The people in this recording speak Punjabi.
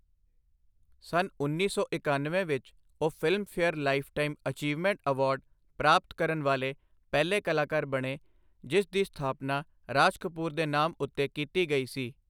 ਸੰਨ ਉੱਨੀ ਸੌ ਇਕਣਵੇਂ ਵਿੱਚ ਉਹ ਫਿਲਮਫੇਅਰ ਲਾਈਫਟਾਈਮ ਅਚੀਵਮੈਂਟ ਅਵਾਰਡ ਪ੍ਰਾਪਤ ਕਰਨ ਵਾਲੇ ਪਹਿਲੇ ਕਲਾਕਾਰ ਬਣੇ, ਜਿਸ ਦੀ ਸਥਾਪਨਾ ਰਾਜ ਕਪੂਰ ਦੇ ਨਾਮ ਉੱਤੇ ਕੀਤੀ ਗਈ ਸੀ।